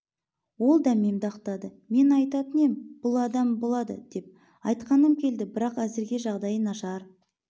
ол дәмемді ақтады мен айтатын ем бұл адам болады деп айтқаным келді бірақ әзірге жағдайы нашар